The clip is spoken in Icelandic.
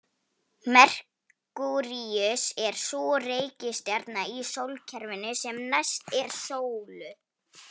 Merkúríus er sú reikistjarna í sólkerfinu sem næst er sólu.